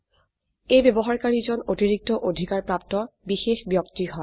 এই ব্যবহাৰকাৰী জন অতিৰিক্ত অধিকাৰ প্ৰাপ্ত বিশেষ ব্যক্তি হয়